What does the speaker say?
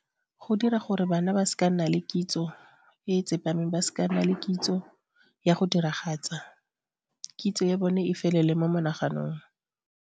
Go dira gore bana ba se ka nna le kitso e tsepameng ba se ka nna le kitso ya go diragatsa kitso ya bone e felele mo monaganong.